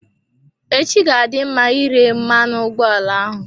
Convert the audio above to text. Echi ga-adị mma ire mmanụ ụgbọala ahụ.